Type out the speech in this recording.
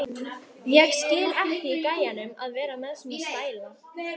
Ég skil ekki í gæjanum að vera með svona stæla!